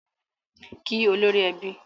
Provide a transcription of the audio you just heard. Kí olórí ẹbí!